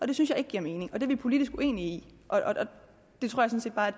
det synes jeg ikke giver mening og det er vi politisk uenige i og